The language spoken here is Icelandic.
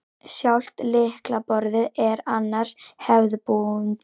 Sjálft lyklaborðið er annars hefðbundið